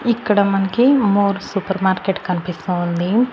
ఇక్కడ మన్కి More supermarket కన్పిస్తూ ఉంది.